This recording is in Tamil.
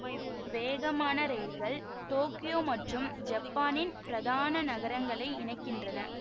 வேகமான இரயில்கள் டோக்கியோ மற்றும் ஜப்பானின் பிரதான நகரங்களை இணைக்கின்றன